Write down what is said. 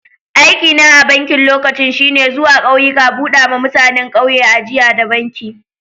Aiki na a'bankin lokacin shine zuwa kauyuka buda ma mutanen kauyen ajia da banki.